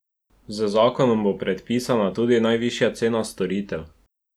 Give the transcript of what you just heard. Z zakonom bo predpisana tudi najvišja cena storitev.